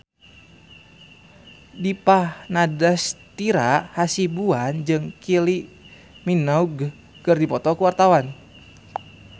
Dipa Nandastyra Hasibuan jeung Kylie Minogue keur dipoto ku wartawan